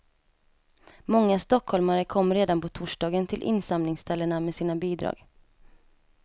Många stockholmare kom redan på torsdagen till insamlingsställena med sina bidrag.